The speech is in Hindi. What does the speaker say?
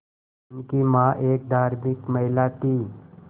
उनकी मां एक धार्मिक महिला थीं